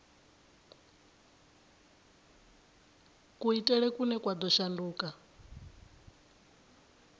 kuitele kune kwa ḓo shanduka